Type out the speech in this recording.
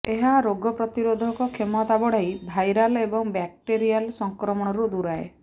ଏହା ରୋଗପ୍ରତିରୋଧକ କ୍ଷମତା ବଢ଼ାଇ ଭାଇରାଲ ଏବଂ ବ୍ୟାକ୍ଟେରିଆଲ୍ ସଂକ୍ରମଣରୁ ଦୂରାଏ